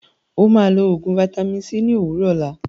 Ó máa lọ oògùn vaitami c ní òwúrọ̀ òlá.